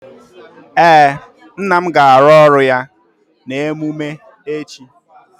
Ee, nna m ga-arụ ọrụ ya na emume echi